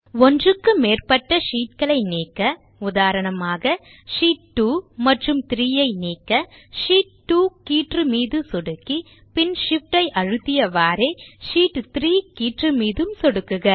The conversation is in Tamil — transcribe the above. ஒன்றுக்கு மேற்பட்ட ஷீட் களை நீக்க உதாரணமாக ஷீட் 2 மற்றும் 3 ஐ நீக்க ஷீட் 2 கீற்று மீது சொடுக்கி பின் Shift ஐ அழுத்தியவாறே ஷீட் 3கீற்று மீதும் சொடுக்குக